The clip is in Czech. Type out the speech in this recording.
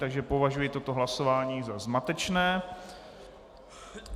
Takže považuji toto hlasování za zmatečné.